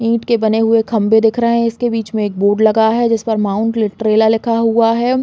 ईट के बने हुए खम्बे दिख रहे हैं। इसके बीच में एक बोर्ड लगा है। जिस पर माउंट लिटरैला लिखा हुआ है।